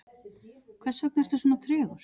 hversvegna ertu svona tregur